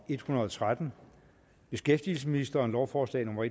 en hundrede og tretten beskæftigelsesministeren lovforslag nummer